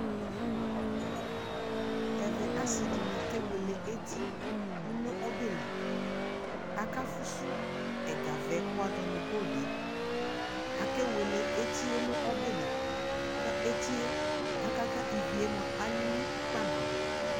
ɛvɛ asiidini kɛ wɛlɛ ɛti dʋnʋ ɔbɛ li, aka fʋsʋ ɛga vɛɛ kʋ wazɔnʋ goldɛ, akɛ wɛlɛ ɛtiɛ nʋ ɔbɛli kʋ ɛtiɛ aka ka kʋ iviɛ alili kpa nabʋɛ